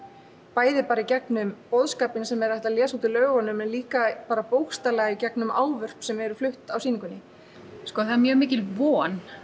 bæði bara í gegnum boðskapinn sem er hægt að lesa út úr lögunum en líka bara bókstaflega gegnum ávörp sem eru flutt á sýningunni það er mjög mikil von